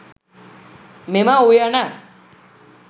මෙම උයන